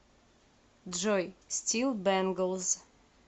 джой стил бэнглз